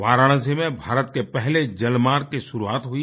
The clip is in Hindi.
वाराणसी में भारत के पहले जलमार्ग की शुरुआत हुई